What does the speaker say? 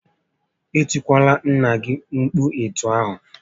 E tikwalara nnà gị mkpu etu ahụ!